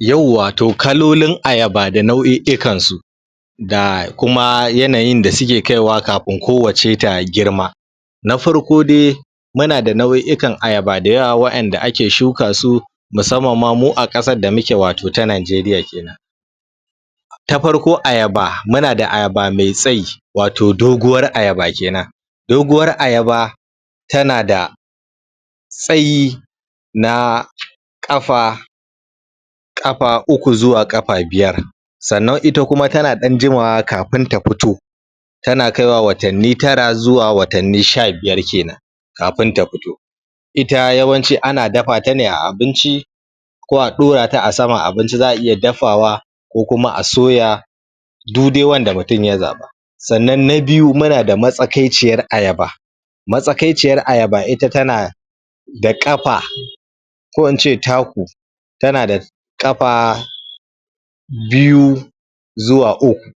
Yauwa, to kalolin ayaba da nau'i'ikansu ga kuma yanayin da suke kaiwa kafin kowacce ta girma na farko dai muna da nau'i'ikan ayaba da yawa wa inda ake shuka su musamman ma mu a ƙasar da muke wato ta najeriya kenan, ta farko ayaba, muna da ayaba mai tsayi wato doguwar ayaba kenan doguwar ayaba tana da tsayi na ƙafa ƙafa uku zuwa ƙafa biyar sannan ita kuma tana ɗan jimawa kafin ta fito tana kaiwa watanni tara zuwa sha biyar kenan kafin ta fito. Ita yawanci ana dafa ta ne a abinci ko a ɗorata a saman abinci za'a iya dafawa ko kuma a soya duk dai wanda mutum ya zaba. Sannan na biyu muna da matsakaiciyar ayaba. Matsakaiciyar ayaba ita tana da ƙafa ko in ce taku, tana da ƙafa biyu zuwa uku,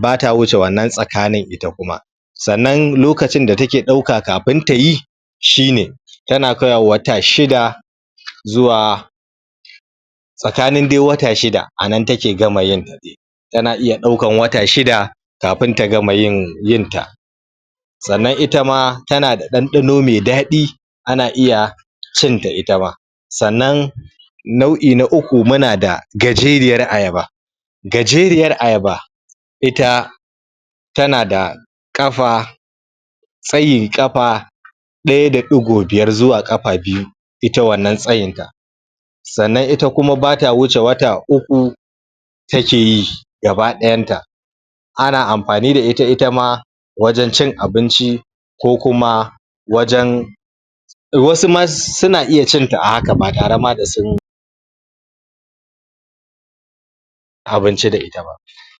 bata wuce wannan tsakanin ita kuma sannan lokacin da take ɗauka kafin tayi shine tana kaiwa wata shida zuwa tsakanin dai wata shida a nan take gama yinta tana iya daukar wata shida kafin ta gama yinta. sannan ita ma tana da ɗanɗano mai dadi ana iya cin ta ita ma. Sannan nau'i na uku muna da gajeriyar ayaba. Gajeriyar ayaba ita tana da ƙafa tsayin ƙafa ɗaya da ɗigo biyar zuwa ƙafa biyu ita wannan tsayin ta sannan ita kuma bata wuce wafa uku takeyi gaba ɗayanta. ana amfani da ita ita ma wajen cin abinci, ko kuma wajen wasu ma suna iya cin ta a haka ba tare ma da sun ci abinci da ita ba.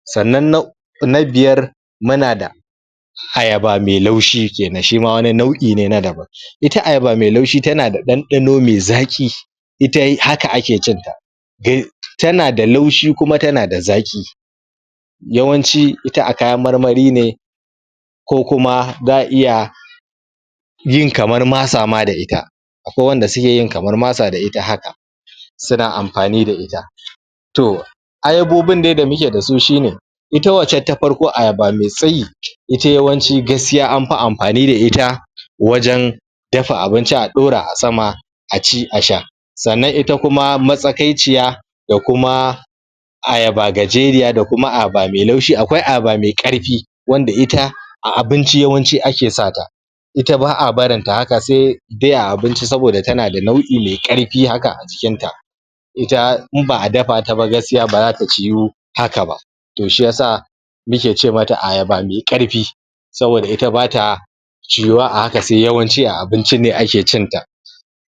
sannan na na biyar muna da ayaba mai laushi kenan shima wani nau'i ne na daban ita ayaba mai laushi tana da ɗanɗano mai zaƙi ita haka ake cin ta tana d laushi kuma tana da zaƙi yawanci, ita a kayan marmari ne ko kuma za'a iya yin kamar masa ma da ita akwai wanda sukeyin kamar masa da ita haka suna amfani da ita. To, ayabobin dai da muke dasu sune ita wancan ta farko ayaba me tsayi, ita yawanci gaskiya anfi amfani da ita dafa abinci a ɗora a sama a ci, a sha. Sannan ita kuma matsakaiciya da kuma ayaba gajeriya da kuma ayaba me laushi, akwai ayaba mai ƙarfi wanda ita a abinci yawanci ake sa ta ita ba'a barin ta haka se dai a abinci saboda tana da nau'i maiƙarfi haka a jikinta ita in ba'a dafata ba gaskiya bazata ciyu haka ba to shiyasa muke ce mata ayaba mai ƙarfi saboda ita bata ciyuwa a haka sai yawanci a abinci ne ake cin ta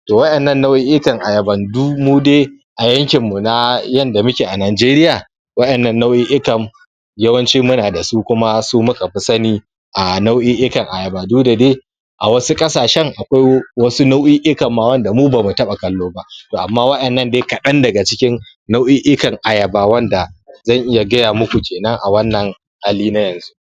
To wa innan nau'i'ikan ayaban to mudai a yankin na yanda muke a najeriya wa innan nau'i'ikan yawanci muna da su, kuma su muka fi sani a nau'i'ikan ayaba duk da dai a wasu ƙasashen akwai wasu nau'i'ikan ma wanda mu bamu taba kallo ba. to amma waɗannan dai kaɗan daga cikin nau'i'ikan ayaba wanda zan iya gaya muku kenan a wannan hali na yanzu.